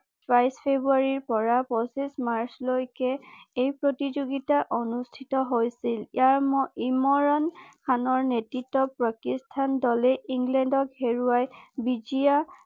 বাইশ ফেব্ৰুৱাৰী পৰা পঁচিশ মাৰ্চ লৈকে এই প্ৰতিযোগিতা অনুষ্ঠিত হৈছিল ইয়াৰম ইমৰাণ খানৰ নেতৃত্ব দলেই ইংলেণ্ডক হেৰুৱাই বিজয়া